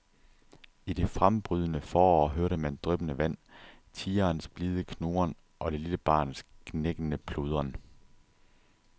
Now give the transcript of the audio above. I det frembrydende forår hørte man dryppende vand, tigerens blide knurren og det lille barns gnækkende pludren.